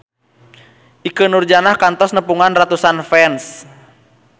Ikke Nurjanah kantos nepungan ratusan fans